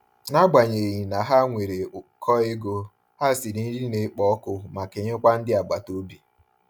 N'agbanyeghị na ha nwere ukọ ego, ha siri nri na-ekpo ọkụ ma kenye kwa ndị agbata obi.